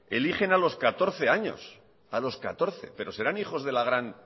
eligen a los catorce años a los catorce pero serán hijos de las gran